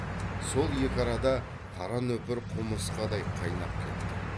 сол екі арада қара нөпір құмырысқадай қайнап кетті